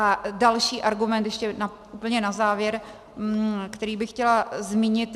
A další argument ještě úplně na závěr, který bych chtěla zmínit.